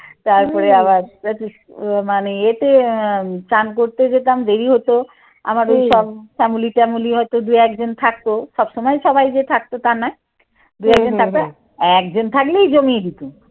তারপরে আবার মানে ইয়েতে আহ চান করতে যেতাম দেরি হতো আমার ঐ সব ফ্যামিলি টামলী হয়তো দু একজন থাকতো সব সময় সবাই যে থাকতো তা নয়। দু একজন থাকতো। একজন থাকলেই জমিয়ে দিতাম।